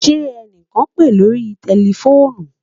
Ṣẹ ẹnikan n pe lórí tẹlifoonù?